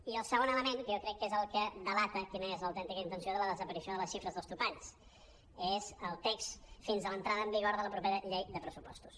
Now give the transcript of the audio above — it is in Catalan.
i el segon element que jo crec que és el que delata quina és l’autèntica intenció de la desaparició de les xifres dels topalls és el text fins a l’entrada en vigor de la propera llei de pressupostos